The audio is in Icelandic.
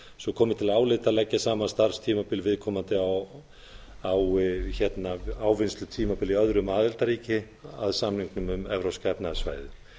svo að til álita komi að leggja saman starfstímabil viðkomandi á ávinnslutímabili í öðru aðildarríki að samningnum um evrópska efnahagssvæðið